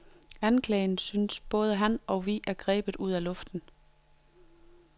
Anklagen, synes både han og vi, er grebet ud af luften.